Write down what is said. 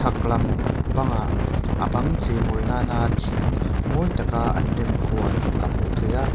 bangah a bang cheimawi nâna thing mawi taka an rem kual a hmuh theih a.